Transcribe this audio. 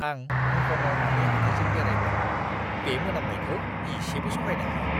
आं हंकंआव नानि हाथाइजों बेरायब्ला बे मोनामनायखौ एसेबो सहायनो हाया।